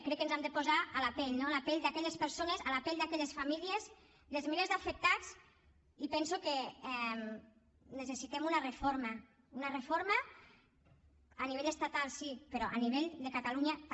crec que ens hem de posar a la pell no a la pell d’aquelles persones a la pell d’aquelles famílies dels milers d’afectats i penso que necessitem una reforma una reforma a nivell estatal sí però a nivell de catalunya també